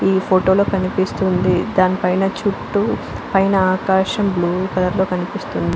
ఈ ఫోటో లో కనిపిస్తోంది దాని పైనా చుట్టూ పైన ఆకాశం బ్లూ కలర్ లో కనిపిస్తుంది .